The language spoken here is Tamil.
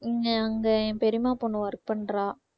இங்க அங்க என் பெரியம்மா பொண்ணு work பண்றா